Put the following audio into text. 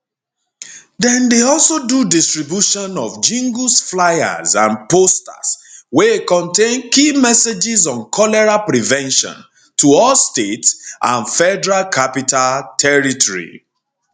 dem dey also do distribution of jingles flyers and posters wey contain key messages on cholera prevention to all states and federal capital territory